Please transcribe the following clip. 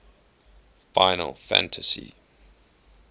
final fantasy